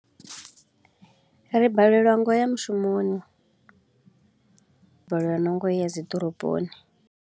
Ri balelwa nga u ya mushumoni, ri balelwa na nga u ya dzi ḓoroboni.